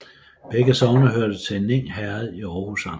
Begge sogne hørte til Ning Herred i Aarhus Amt